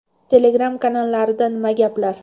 Telegram kanallarida nima gaplar?